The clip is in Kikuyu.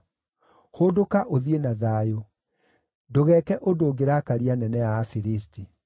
Hũndũka ũthiĩ na thayũ; ndũgeeke ũndũ ũngĩrakaria anene a Afilisti.”